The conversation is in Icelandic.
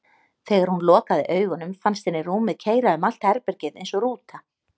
Þegar hún lokaði augunum fannst henni rúmið keyra um allt herbergið eins og rúta.